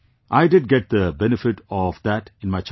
I did get the benefit of that in my childhood